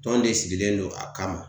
Tɔnw de sigilen don a kama